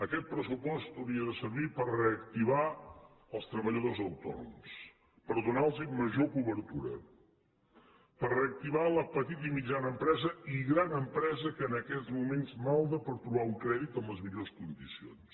aquest pressupost hauria de servir per reactivar els treballadors autònoms per donar los major cobertura per reactivar la petita i mitjana empresa i gran empresa que en aquests moments malda per trobar un crèdit en les millors condicions